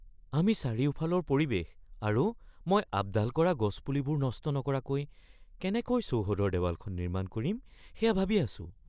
আমি চাৰিওফালৰ পৰিৱেশ আৰু মই আপডাল কৰা গছপুলিবোৰ নষ্ট নকৰাকৈ কেনেকৈ চৌহদৰ দেৱালখন নিৰ্মাণ কৰিম সেয়া ভাবি আছোঁ।